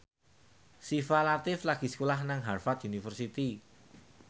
Syifa Latief lagi sekolah nang Harvard university